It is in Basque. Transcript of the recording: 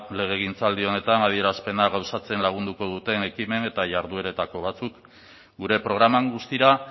legegintzaldi honetan adierazpena gauzatzen lagunduko duten ekimen eta jardueretako batzuk gure programan guztira